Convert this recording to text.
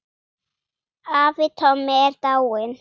Afi Tommi er dáinn.